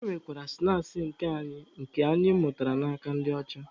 E nwekwara snaakị nke anyị na nke anyị mụtara n'aka ndị ọcha.